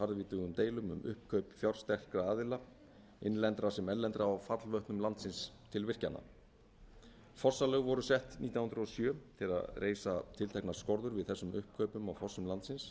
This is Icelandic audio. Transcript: harðvítugum deilum um uppkaup fjársterkra aðila innlendra sem erlendra á fallvötnum landsins til virkjana fossalög voru sett nítján hundruð og sjö til að reisa tilteknar skorður við þessum uppkaupum á fossum landsins